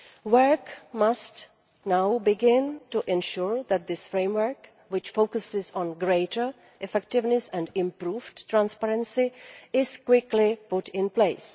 Work must now begin to ensure that this framework, which focuses on greater effectiveness and improved transparency, is quickly put in place.